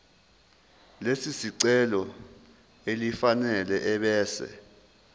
lesicelo elifanele ebese